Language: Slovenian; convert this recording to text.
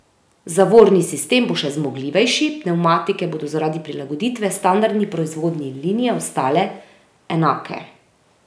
Zavorni sistem bo še zmogljivejši, pnevmatike bodo zaradi prilagoditve standardni proizvodnji liniji ostale enake.